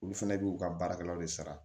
Olu fɛnɛ b'u ka baarakɛlaw de sara